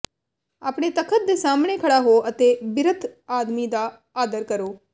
ਆਪਣੇ ਤਖਤ ਦੇ ਸਾਮ੍ਹਣੇ ਖੜਾ ਹੋ ਅਤੇ ਬਿਰਧ ਆਦਮੀ ਦਾ ਆਦਰ ਕਰੋ